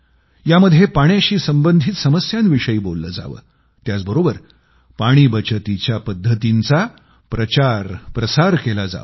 यामध्ये पाण्याशी संबंधित समस्यांविषयी बोललं जावं त्याच बरोबर पाणी बचतीच्या पद्धतींचा प्रचारप्रसार केला जावा